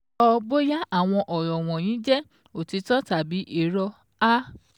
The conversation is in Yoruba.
Sọ bóyá àwọn ọ̀rọ̀ wọ̀nyí jẹ òtítọ́ tàbí irọ́ a